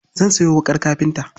Zan sayo wuƙar kafinta.